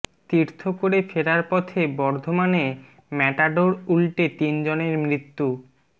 তীর্থ করে ফেরার পথে বর্ধমানে ম্যাটাডোর উল্টে তিনজনের মৃত্যু